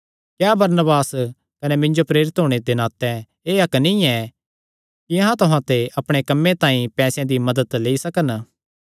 क्या बरनबास कने मिन्जो प्रेरित होणे दे नाते एह़ हक्क नीं ऐ कि अहां तुहां ते अपणे कम्मे तांई पैसेयां दी मदत लेई सकन